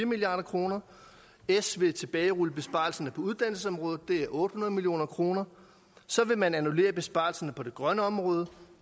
milliard kroner s vil tilbagerulle besparelserne på uddannelsesområdet det er otte hundrede million kroner så vil man annullere besparelsen på det grønne område